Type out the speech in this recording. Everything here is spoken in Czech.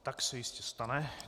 Tak se jistě stane.